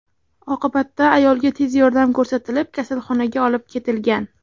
Oqibatda ayolga tez yordam ko‘rsatilib, kasalxonaga olib ketilgan.